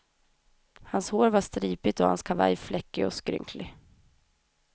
Hans hår var stripigt och hans kavaj fläckig och skrynklig.